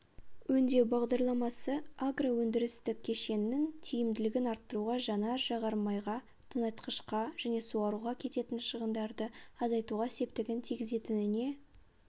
өңдеу бағдарламасы агроөндірістік кешеннің тиімділігін арттыруға жанар-жағармайға тыңайтқышқа және суаруға кететін шығындарды азайтуға септігін тигізетініне